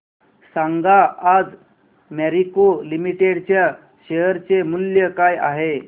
सांगा आज Marico limited च्या शेअर चे मूल्य काय आहे